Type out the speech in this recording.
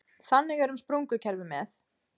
Þannig er um sprungukerfi með